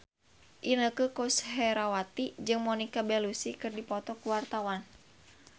Inneke Koesherawati jeung Monica Belluci keur dipoto ku wartawan